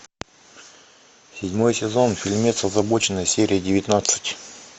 седьмой сезон фильмец озабоченные серия девятнадцать